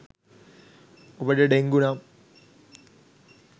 ඔබට ඩෙංගු නම්